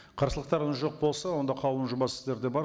қарсылықтарыңыз жоқ болса онда қаулының жобасы сіздерде бар